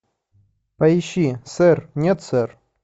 поищи сэр нет сэр